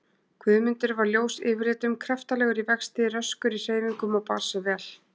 Guðmundur var ljós yfirlitum, kraftalegur í vexti, röskur í hreyfingum og bar sig vel.